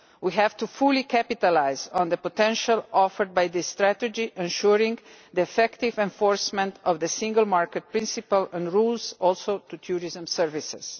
We have to fully capitalise on the potential offered by this strategy, ensuring effective enforcement of single market principles and rules, extending also to tourism services.